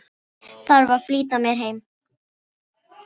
Þarf að flýta mér heim.